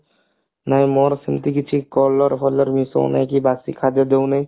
ନାଇଁ ମୋର ସେମତି କିଛି color ଫଲର ମିଶାଏ ନା କି ବସି ଖାଦ୍ଯ ଦଉନୁ